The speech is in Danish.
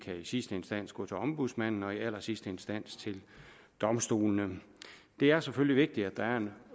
sidste instans gå til ombudsmanden og i allersidste instans til domstolene det er selvfølgelig vigtigt at der er en